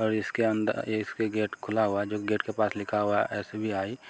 और इसके अंदर इसके गेट खुला हुआ है जो गेट के पास लिखा हुआ है एस.बी.आई. ।